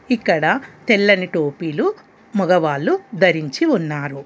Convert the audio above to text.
ఇక్కడ తెల్లని టోపీలు మగవాళ్ళు ధరించి ఉన్నారు.